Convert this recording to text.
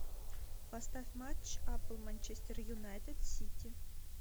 поставь матч апл манчестер юнайтед сити